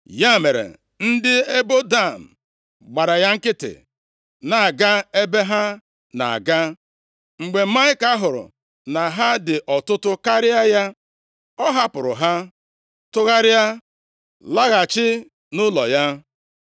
Ya mere, ndị ebo Dan gbara ya nkịtị na-aga ebe ha na-aga. Mgbe Maịka hụrụ na ha dị ọtụtụ karịa ya, ọ hapụrụ ha, tụgharịa laghachi nʼụlọ ya.